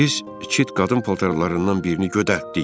Biz iki qadın paltarlarından birini götürtdük.